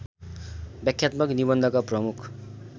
व्याख्यात्मक निबन्धका प्रमुख